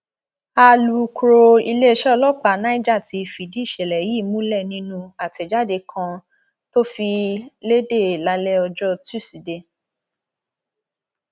alūkrọ iléeṣẹ ọlọpàá niger ti fìdí ìṣẹlẹ yìí múlẹ nínú àtẹjáde kan tó fi lédè lálẹ ọjọ tusidee